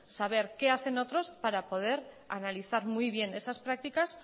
saber qué hacen otros para poder analizar muy bien esas prácticas